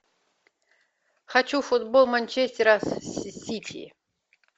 хочу футбол манчестера с сити